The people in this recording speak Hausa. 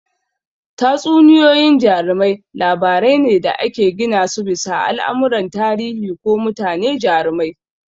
Tatsuniyoyin jarumai labarai ne da aka gina su bisa al'amuran tarihi ko mutane jarumai.